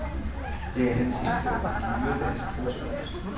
Det er hans indføring i nyere dansk prosakunst.